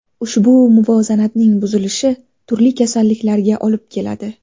Ushbu muvozanatning buzilishi turli kasalliklarga olib keladi.